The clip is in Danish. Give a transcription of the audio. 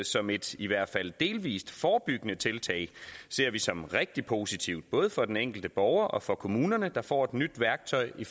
som et i hvert fald delvist forebyggende tiltag ser vi som rigtig positivt både for den enkelte borger og for kommunerne der får nyt værktøj i